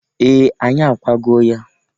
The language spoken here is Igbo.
Ee! Anyị akwago ya.